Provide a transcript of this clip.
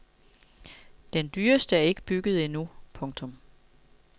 Den dyreste er ikke bygget endnu. punktum